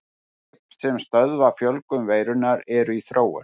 Lyf sem stöðva fjölgun veirunnar eru í þróun.